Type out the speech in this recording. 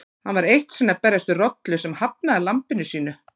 Hann var eitt sinn að berjast við rollu sem hafnaði lambinu sínu.